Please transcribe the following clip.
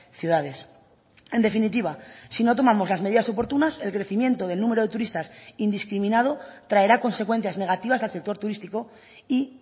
ciudades en definitiva si no tomamos las medidas oportunas el crecimiento del número de turistas indiscriminado traerá consecuencias negativas al sector turístico y